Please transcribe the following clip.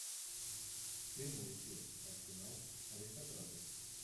прямой эфир арсенал аристократы